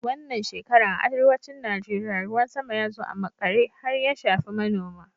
Wannan shekaran a arewacin Najeriya, ruwan sama ya zo a maƙare har ya shafi manoma.